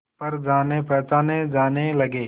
पर जानेपहचाने जाने लगे